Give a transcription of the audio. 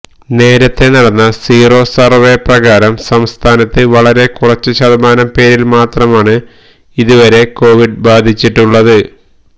നേരത്തേ നടന്ന sero survey പ്രകാരം സംസ്ഥാനത്ത് വളരെ കുറച്ച് ശതമാനം പേരില് മാത്രമാണ് ഇതുവരെ കോവിഡ് ബാധിച്ചിട്ടുള്ളത്